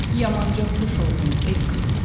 Yamanca tuş oldum el qınağına.